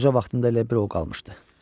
Qoca vaxtında elə bil o qalmışdı.